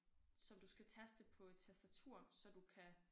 Som du skal taste på et tastatur så du kan